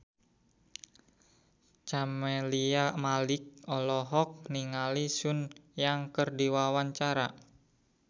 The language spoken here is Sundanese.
Camelia Malik olohok ningali Sun Yang keur diwawancara